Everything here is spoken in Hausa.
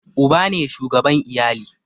Uba ne shugaban iyali